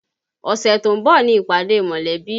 Ọ̀sẹ̀ tó ń bọ̀ ni ìpàdé mọ̀lẹ́bí